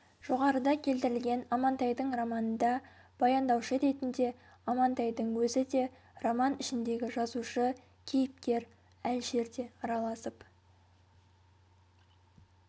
жоғарыда келтірілген амантайдың романында баяндаушы ретінде амантайдың өзі де роман ішіндегі жазушы кейіпкер әлішер де араласып